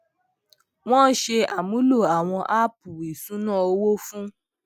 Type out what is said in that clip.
wọn ṣe àmúlò àwọn áàpù ìṣúná owó fún